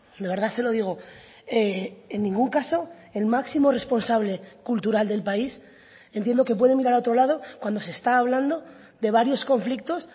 de verdad se lo digo en ningún caso el máximo responsable cultural del país entiendo que puede mirar a otro lado cuando se está hablando de varios conflictos